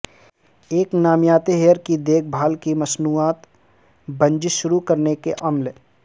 ایک نامیاتی ہیئر کی دیکھ بھال کی مصنوعات بزنس شروع کرنے کے عمل